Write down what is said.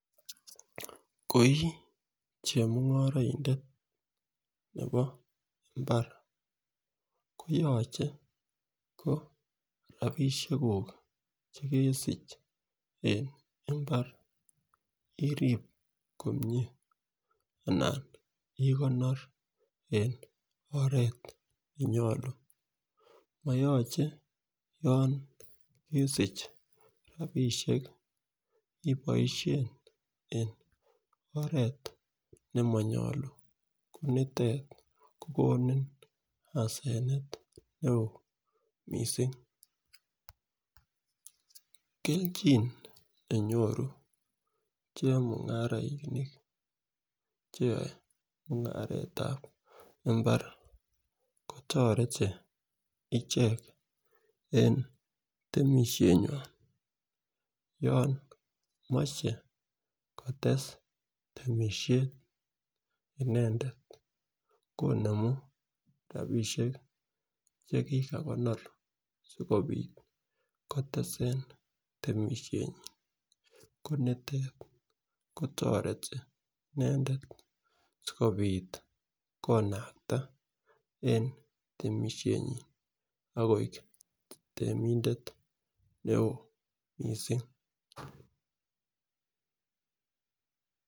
Koi chemungoroidet nebo imbar koyoche ko rabishek kuk chekesich en imbar irib komie anan ikonor en oret nenyolu koyoche yon kesich rabishek iboishen en oret nemonyolu ko nitet kokonin asenet neo missing. Keljin nenyoru chemungarainik cheyoe mungaretab imbar kotoreti ichek en temishet nywan yon moche kotesu temishet inendet konemu rabishek chekikonor sikopit kotesen temishenyin ko nitet kotoreti indendet sikopit konakta en temishenyin akoi temindet neo missing